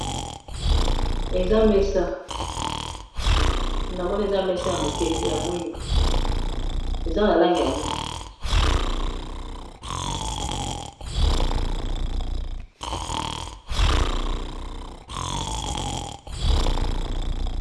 Awa namoni eza mesa ya mokie, eza na langi ya mwindu.